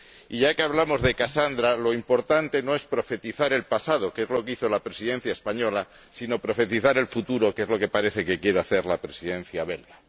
Y ya que hablamos de Casandra, lo importante no es profetizar el pasado, que es lo que hizo la Presidencia española, sino profetizar el futuro, que es lo que parece que quiere hacer la Presidencia belga.